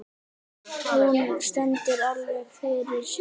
Hún stendur alveg fyrir sínu.